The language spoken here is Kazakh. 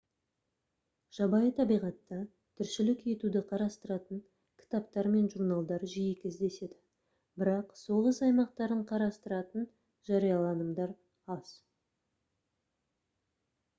жабайы табиғатта тіршілік етуді қарастыратын кітаптар мен журналдар жиі кездеседі бірақ соғыс аймақтарын қарастыратын жарияланымдар аз